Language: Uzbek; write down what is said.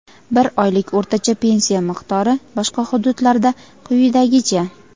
bir oylik o‘rtacha pensiya miqdori boshqa hududlarda quyidagicha:.